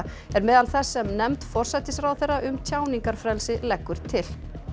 er meðal þess sem nefnd forsætisráðherra um tjáningarfrelsi leggur til